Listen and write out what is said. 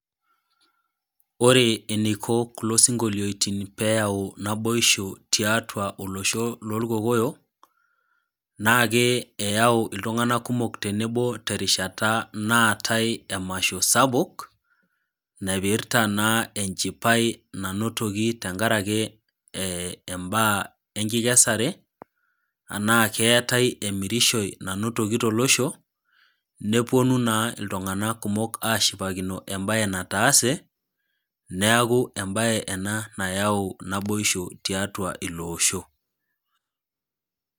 Ore eneiko kulo sinkolioitin pee eyau naboishu, tiatua olosho loolkokoyo, naake eyau iltung'anak kumok tenebo te erishata naatai emasho sapuk, naipirta naa enchipai naa nainotoki tenkaraki imbaa enkikesare, anaa keatai emirishoi nainotoki tolosho, nepuonu naa iltung'anak kumok ashipakino embae nataase, neaku embae ena nayau naboishu tiatua olosho.